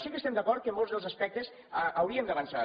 sí que estem d’acord que en molts dels aspectes hauríem d’avançar